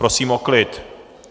Prosím o klid.